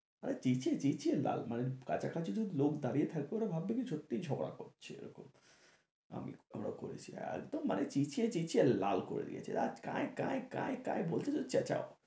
চেঁচিয়ে চেঁচিয়ে লাল মানে কাছাকাছি যদি লোক দাঁড়িয়ে থাকতো ওরা ভাবতো কি সত্যি ঝগড়া করছে এরকম আমি আমরা একদম মানে চেঁচিয়ে চেঁচিয়ে লাল করে দিয়েছে, আর কাঁই কাঁই কাঁই কাঁই বলছে তো চেঁচাও